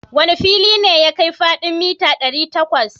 Wane fili ne ya kai faɗin mita ɗari takwas?